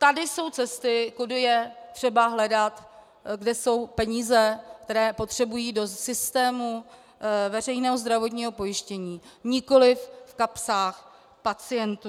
Tady jsou cesty, kudy je třeba hledat, kde jsou peníze, které potřebují do systému veřejného zdravotního pojištění, nikoliv v kapsách pacientů.